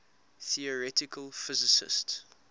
theoretical physicists